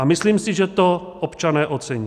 A myslím si, že to občané ocení.